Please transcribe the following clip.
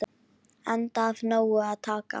Enda af nógu að taka.